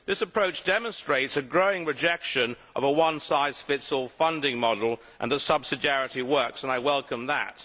This approach demonstrates a growing rejection of a one size fits all funding model and shows that subsidiarity works, and I welcome that.